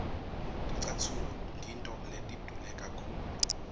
ticatfulo ngito letidule kakhulu